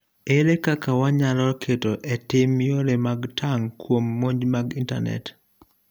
ere kaka wanyalo keto etim yore mag tang' kuom monj mag intanet